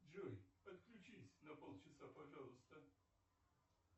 джой отключись на пол часа пожалуйста